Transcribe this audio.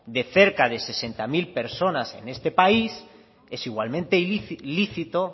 de cerca de sesenta mil personas en este país es igualmente lícito